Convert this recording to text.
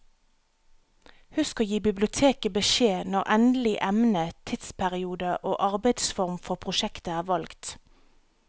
Husk å gi biblioteket beskjed når endelig emne, tidsperiode og arbeidsform for prosjektet er valgt.